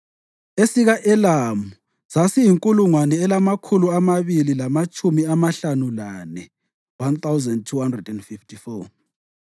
esika-Elamu sasiyinkulungwane elamakhulu amabili lamatshumi amahlanu lane (1,254),